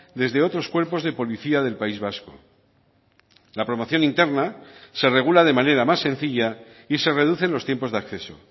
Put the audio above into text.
desde otros cuerpos de policía del país vasco la promoción interna se regula de manera más sencilla y se reducen los tiempos de acceso